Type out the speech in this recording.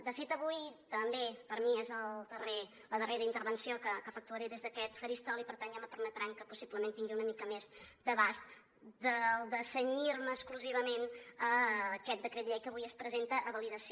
de fet avui també per mi és la darrera intervenció que efectuaré des d’aquest faristol i per tant ja em permetran que possiblement tingui una mica més d’abast del de cenyir me exclusivament a aquest decret llei que avui es presenta a validació